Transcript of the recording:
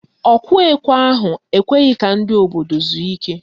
Ọkụ ekwe ahụ ekweghị ka ndị obodo zuo ike